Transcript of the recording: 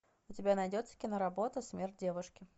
у тебя найдется киноработа смерть девушки